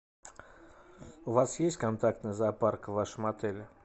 у вас есть контактный зоопарк в вашем отеле